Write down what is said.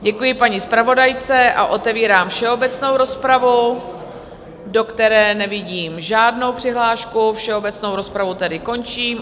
Děkuji paní zpravodajce a otevírám všeobecnou rozpravu, do které nevidím žádnou přihlášku, všeobecnou rozpravu tedy končím.